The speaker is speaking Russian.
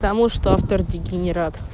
потому что автор дегенерат